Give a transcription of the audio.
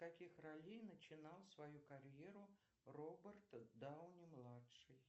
с каких ролей начинал свою карьеру роберт дауни младший